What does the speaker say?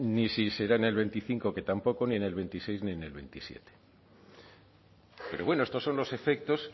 ni si será en el veinticinco que tampoco ni en el veintiséis ni en el veintisiete pero bueno estos son los efectos